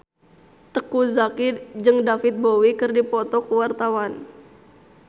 Teuku Zacky jeung David Bowie keur dipoto ku wartawan